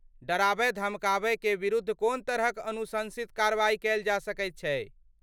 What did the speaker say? डराबय धमकाबयकेँ विरुद्ध कोन तरहक अनुशंसित कार्रवाइ कयल जा सकैत छै?